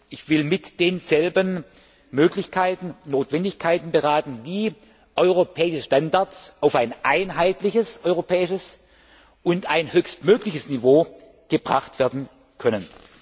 Ich will mit denselben über Möglichkeiten und Notwendigkeiten beraten, wie europäische Standards auf ein einheitliches europäisches und ein höchstmögliches Niveau gebracht werden können.